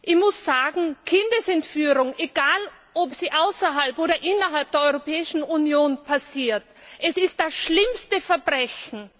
Ich muss sagen, Kindesentführung egal ob sie außerhalb oder innerhalb der Europäischen Union passiert ist das schlimmste Verbrechen.